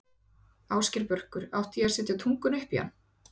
Ásgeir Börkur: Átti ég að setja tunguna upp í hann?